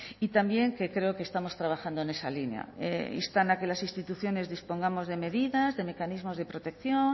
y también que creo que estamos trabajando en esa línea instan a que las instituciones dispongamos de medidas de mecanismos de protección